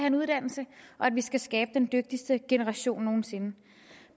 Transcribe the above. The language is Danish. en uddannelse og at vi skal skabe den dygtigste generation nogen sinde